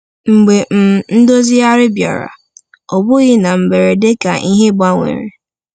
Mgbe um Ndozigharị bịara, ọ bụghị na mberede ka ihe gbanwere.